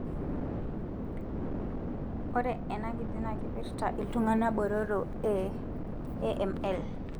ore ena kiti na kipirta iltungana botoro e AML.